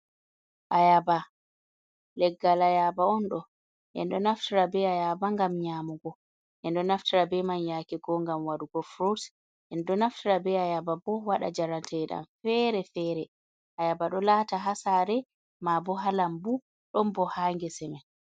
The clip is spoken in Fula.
Ayaba leggal ayaba on do endo naftara be ayaba gam nyamugo ,endo naftira be man yake go ngam wadugo frut en do naftira be ayaba bo waɗa jarantedam fere-fere ayaba do lata ha sare ma bo halambu don bo ha ngese men.